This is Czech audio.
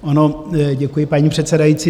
Ano, děkuji, paní předsedající.